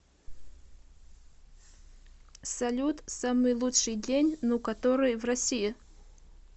салют самый лучший день ну который в россии